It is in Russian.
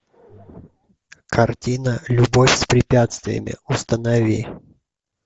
картина любовь с препятствиями установи